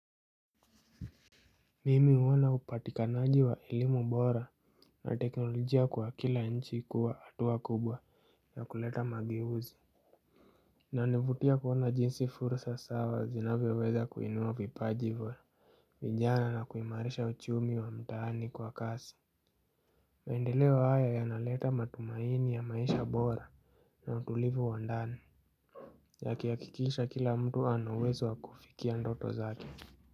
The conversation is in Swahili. Mimi huwona upatikanaji wa elimu bora na teknolojia kwa kila nchi kuwa atuwa kubwa ya kuleta mageuzi inanivutia kuwona jinsi fursa sawa zinavyo weza kuinua vipaji vya vijana na kuimarisha uchumi wa mtani kwa kasi. Maendeleo haya yanaleta matumaini ya maisha bora na utulivu wandani yakiakikisha kila mtu ana uwezo wa kufikia ndoto zake.